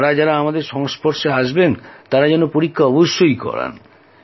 যাঁরা যাঁরা আমাদের সংস্পর্শে আসবেন তাঁরা যেন পরীক্ষা অবশ্যই করান